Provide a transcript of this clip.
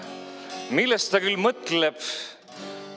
Millest ta küll mõtleb?